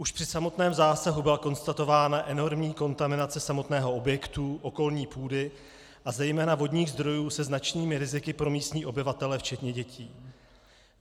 Už při samotném zásahu byla konstatována enormní kontaminace samotného objektu, okolní půdy a zejména vodních zdrojů se značnými riziky pro místní obyvatele včetně dětí.